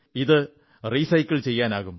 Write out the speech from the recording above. ഇത് റീസൈക്കിൾ ചെയ്യാനാകും